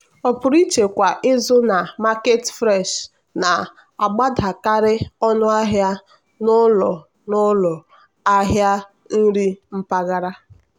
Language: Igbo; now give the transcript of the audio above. ọpụrụiche kwa izu na market fresh na-agbadakarị ọnụ ahịa n'ụlọ n'ụlọ ahịa nri mpaghara.